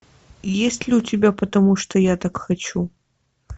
есть ли у тебя потому что я так хочу